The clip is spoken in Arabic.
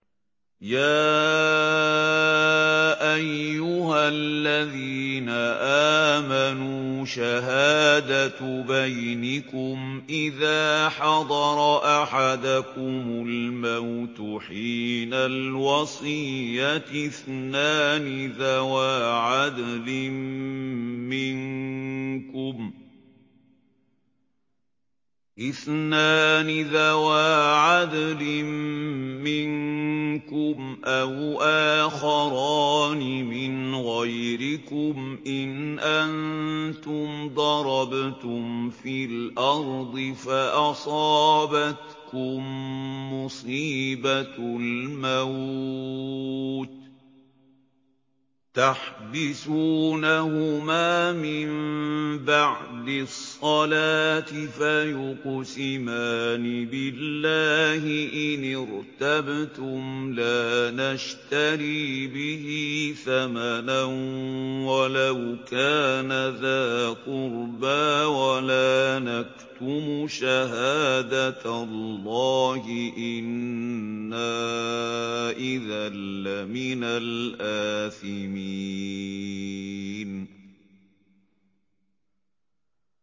يَا أَيُّهَا الَّذِينَ آمَنُوا شَهَادَةُ بَيْنِكُمْ إِذَا حَضَرَ أَحَدَكُمُ الْمَوْتُ حِينَ الْوَصِيَّةِ اثْنَانِ ذَوَا عَدْلٍ مِّنكُمْ أَوْ آخَرَانِ مِنْ غَيْرِكُمْ إِنْ أَنتُمْ ضَرَبْتُمْ فِي الْأَرْضِ فَأَصَابَتْكُم مُّصِيبَةُ الْمَوْتِ ۚ تَحْبِسُونَهُمَا مِن بَعْدِ الصَّلَاةِ فَيُقْسِمَانِ بِاللَّهِ إِنِ ارْتَبْتُمْ لَا نَشْتَرِي بِهِ ثَمَنًا وَلَوْ كَانَ ذَا قُرْبَىٰ ۙ وَلَا نَكْتُمُ شَهَادَةَ اللَّهِ إِنَّا إِذًا لَّمِنَ الْآثِمِينَ